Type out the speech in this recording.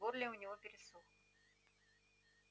в горле у него пересохло